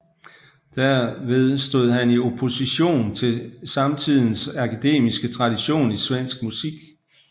Derved stod han i opposition til samtidens akademiske tradition i svensk musik